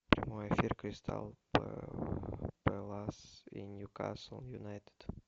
прямой эфир кристал пэлас и ньюкасл юнайтед